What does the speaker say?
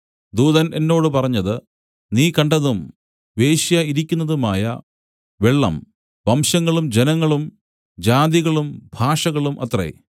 ദൂതൻ എന്നോട് പറഞ്ഞത് നീ കണ്ടതും വേശ്യ ഇരിക്കുന്നതുമായ വെള്ളം വംശങ്ങളും ജനങ്ങളും ജാതികളും ഭാഷകളും അത്രേ